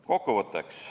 Kokkuvõtteks.